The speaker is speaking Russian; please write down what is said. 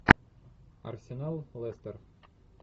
арсенал лестер